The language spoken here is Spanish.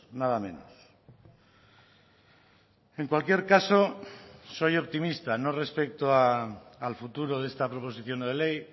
nada menos en cualquier caso soy optimista no respecto al futuro de esta proposición no de ley